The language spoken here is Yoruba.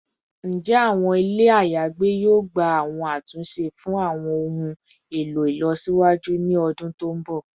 Njẹ awọn ile ayagbe yoo gba awọn atunṣe fun awọn ohun elo ilọsiwaju ni ọdun to nbọ?